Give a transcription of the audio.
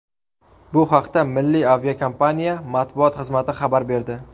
Bu haqda milliy aviakompaniya matbuot xizmati xabar berdi.